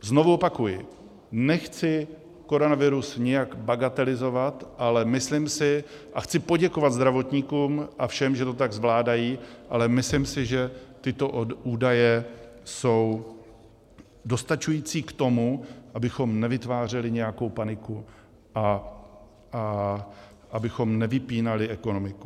Znovu opakuji, nechci koronavirus nijak bagatelizovat, ale myslím si - a chci poděkovat zdravotníkům a všem, že to tak zvládají - ale myslím si, že tyto údaje jsou dostačující k tomu, abychom nevytvářeli nějakou paniku a abychom nevypínali ekonomiku.